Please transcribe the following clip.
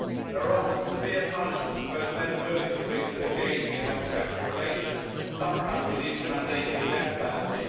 There are often severe punishments for both men and women convicted of engaging in homosexual relations, some countries even mandating the death penalty.